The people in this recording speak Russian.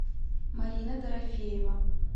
марина дорофеева